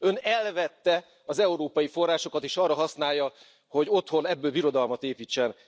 Ön elvette az európai forrásokat, és arra használja, hogy otthon belőlük birodalmat építsen.